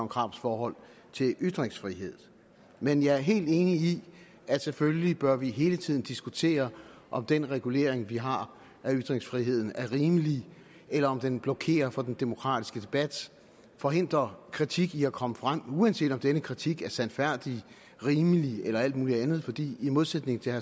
krarups forhold til ytringsfrihed men jeg er helt enig i at selvfølgelig bør vi hele tiden diskutere om den regulering vi har af ytringsfriheden er rimelig eller om den blokerer for den demokratiske debat forhindrer kritik i at komme frem uanset om denne kritik er sandfærdig rimelig eller alt muligt andet fordi i modsætning til